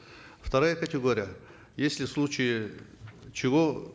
вторая категория если в случае чего